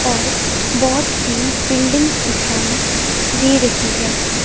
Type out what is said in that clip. और बहोत सी बिल्डिंग्स दिखाई दे रही है।